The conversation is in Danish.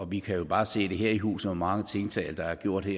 vi kan bare se her i huset hvor mange tiltag der er gjort